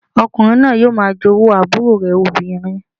Ọkùnrin náà yóò máa jowú àbúrò rẹ̀ obìnrin